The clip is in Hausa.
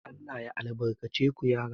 Allah ya albalace ku yara